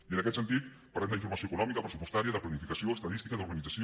i en aquest sentit parlem d’informació econòmica pressupostària de planificació estadística d’organització